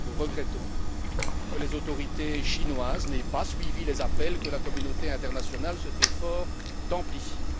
Nous regrettons que les autorités chinoises n'aient pas suivi les appels que la communauté internationale se fait fort d'amplifier.